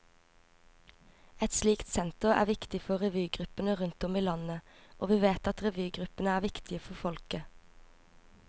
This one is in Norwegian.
Et slikt senter er viktig for revygruppene rundt om i landet, og vi vet at revygruppene er viktige for folket.